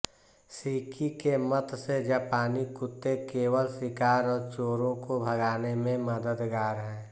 शिकी के मत से जापानी कुत्ते केवल शिकार और चोरो को भगाने में मददगार है